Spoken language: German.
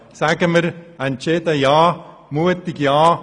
Sagen wir entschieden und mutig ja!